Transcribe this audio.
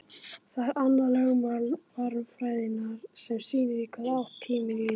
Það er annað lögmál varmafræðinnar sem sýnir í hvaða átt tíminn líður.